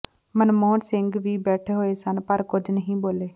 ਮਨਮੋਹਨ ਸਿੰਘ ਵੀ ਬੈਠੇ ਹੋਏ ਸਨ ਪਰ ਕੁਝ ਨਹੀਂ ਬੋਲੇ